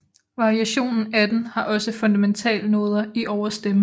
Variation 18 har også fundamentalnoder i overstemmen